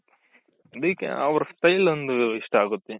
DKಅವ್ರ್ style ಒಂದ್ ಇಷ್ಟ ಆಗುತ್ತೆ.